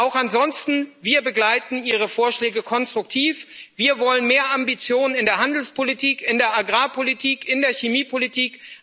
Auch ansonsten Wir begleiten Ihre Vorschläge konstruktiv. Wir wollen mehr Ambitionen in der Handelspolitik, in der Agrarpolitik, in der Chemiepolitik.